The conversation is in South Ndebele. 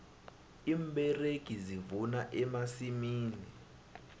iimberegi zivuna emasimini